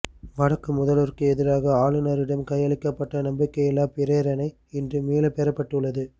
வடக்கு முதல்வருக்கு எதிராக ஆளுநரிடம் கையளிக்கப்பட்ட நம்பிக்கையில்லா பிரேரணை இன்று மீள பெறப்பட்டுள்ளது